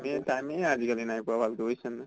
য়ে time য়ে আজি কালি নাই পোৱা ভালকৈ বুজিছ নে নাই।